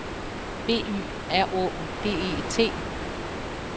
B Y R Å D E T